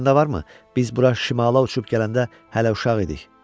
Yadında varmı, biz bura şimala uçub gələndə hələ uşaq idik.